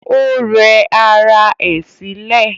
Ó rẹ ara ẹ̀ sílẹ̀